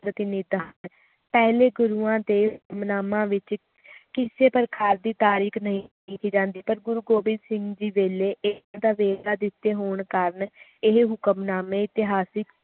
ਕੀਨੀ ਤਾਕਤ ਪਹਿਲੇ ਗੁਰੂਆਂ ਦੇ ਹੁਕਮਨਾਮਾ ਵਿਚ ਕਿਸੇ ਤਰੀਕੇ ਦੀ ਤਾਰੀਕ ਨਹੀਂ ਲਿਖੀ ਜਾਂਦੀ ਪਰ ਗੁਰੂ ਗੋਬਿੰਦ ਸਿੰਘ ਜੀ ਵੇਲੇ ਨਾ ਦਿੱਤੇ ਹੋਣ ਕਾਰਣ ਇਹ ਹੁਕਮਨਾਮੇ ਇਤਿਹਾਸਿਕ